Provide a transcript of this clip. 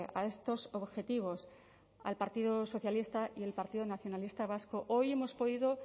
a estos objetivos al partido socialista y el partido nacionalista vasco hoy hemos podido